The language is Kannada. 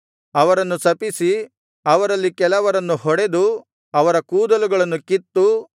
ಅವರನ್ನು ಶಪಿಸಿ ಅವರಲ್ಲಿ ಕೆಲವರನ್ನು ಹೊಡೆದು ಅವರ ಕೂದಲುಗಳನ್ನು ಕಿತ್ತು